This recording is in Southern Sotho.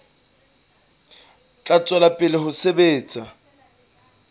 tla tswela pele ho sebetsa